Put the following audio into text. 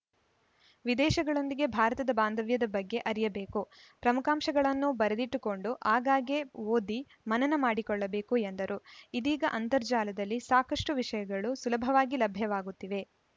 ವಿದೇಶಗಳೊಂದಿಗೆ ಭಾರತದ ಬಾಂಧವ್ಯದ ಬಗ್ಗೆ ಅರಿಯಬೇಕು ಪ್ರಮುಖಾಂಶಗಳನ್ನು ಬರದಿಟ್ಟುಕೊಂಡು ಆಗಾಗ್ಗೆ ಓದಿ ಮನನ ಮಾಡಿಕೊಳ್ಳಬೇಕು ಎಂದರು ಇದೀಗ ಅಂತರ್ಜಾಲದಲ್ಲಿ ಸಾಕಷ್ಟುವಿಷಯಗಳು ಸುಲಭವಾಗಿ ಲಭ್ಯವಾಗುತ್ತಿವೆ